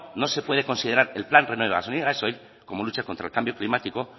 no se puede considerar el plan renove gasolina gasoil como lucha contra el cambio climático